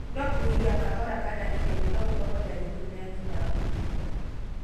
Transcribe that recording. No kũhihia kahora kana ihenya no gũkoro ndariri nene ya thĩna wa kũhihia